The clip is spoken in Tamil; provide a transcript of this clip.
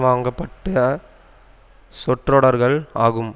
வாங்கப்பட்ட சொற்றொடர்கள் ஆகும்